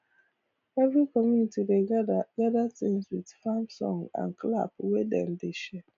every community dey gather gather tins with farm song and clap wey dem dey share